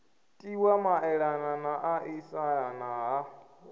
tiwa maelana na ṱaṱisana ha